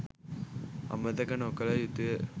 අමතක නොකළ යුතුය